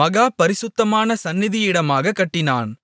மகா பரிசுத்தமான சந்நிதியினிடமாகக் கட்டினான்